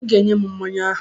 I ga-enye m mmanya ahụ!